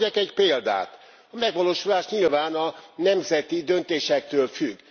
Hadd mondjak egy példát a megvalósulás nyilván a nemzeti döntésektől függ.